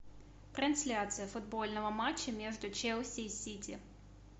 трансляция футбольного матча между челси и сити